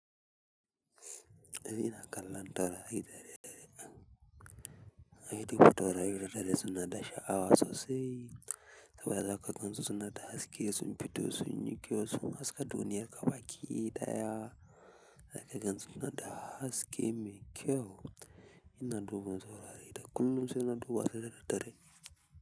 Kallon taurari da daddare nan inna duba taurari da daddare suna da sha'awa sosai kawai zaka gansu suna ta haske sun fito sunyi kyau sun haska duniya gabaki ɗaya zaka gansu suna da haske mai kyau ina duba taurari da kullum sai na duba su da daddare.